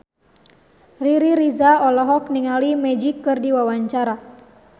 Riri Reza olohok ningali Magic keur diwawancara